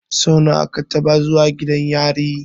Sau nawa ka taɓa zuwa gidan yari?